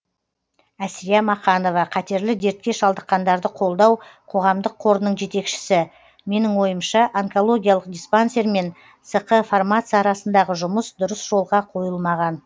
әсия мақанова қатерлі дертке шалдыққандарды қолдау қоғамдық қорының жетекшісі менің ойымша онкологиялық диспансер мен сқ фармация арасындағы жұмыс дұрыс жолға қойылмаған